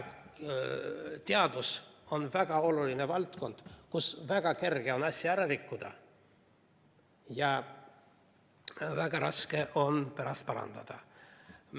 Teadus on väga oluline valdkond, kus on väga kerge asja ära rikkuda ja väga raske on pärast parandada.